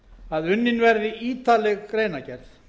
að unnin verði ítarleg greinargerð